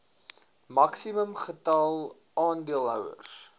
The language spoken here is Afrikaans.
maksimum getal aandeelhouers